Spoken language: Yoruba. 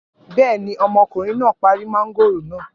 Bẹ́ẹ̀ ni, ọmọkùnrin náà parí mángòrò náà.